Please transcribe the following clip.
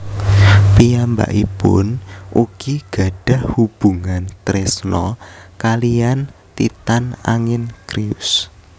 Piyambakipun ugi gadhah hubungan tresna kalihan Titan angin Crius